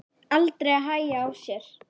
Aldrei að hægja á sér.